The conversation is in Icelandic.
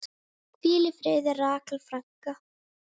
Hvíl í friði, Rakel frænka.